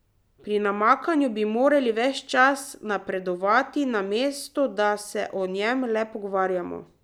Pri namakanju bi morali ves čas napredovati, namesto da se o njem le pogovarjamo.